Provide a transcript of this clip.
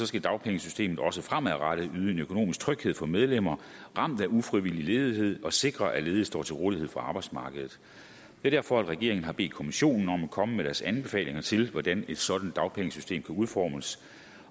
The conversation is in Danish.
skal dagpengesystemet også fremadrettet yde en økonomisk tryghed for medlemmer ramt af ufrivillig ledighed og sikre at ledige står til rådighed for arbejdsmarkedet det er derfor at regeringen har bedt kommissionen om at komme med deres anbefalinger til hvordan et sådant dagpengesystem kan udformes